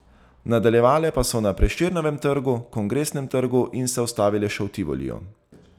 Nadaljevale pa so na Prešernovem trgu, Kongresnem trgu in se ustavile še v Tivoliju.